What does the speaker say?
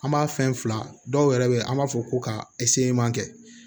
An b'a fɛn fila dɔw yɛrɛ be yen an b'a fɔ ko ka kɛ